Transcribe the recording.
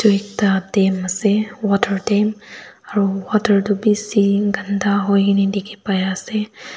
ekta dam asey water dam aro water du bisi ganda huikene dikhi pai asey.